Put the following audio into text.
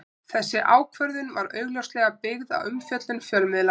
Þessi ákvörðun var augljóslega byggð á umfjöllun fjölmiðla.